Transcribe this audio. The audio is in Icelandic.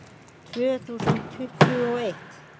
Tvö þúsund tuttugu og eitt